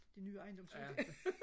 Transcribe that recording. det nye ejendomsskat